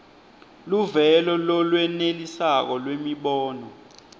luvelo lolwenelisako lwemibono